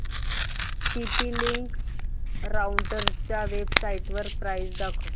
TP Link राउटरच्या वेबसाइटवर price दाखव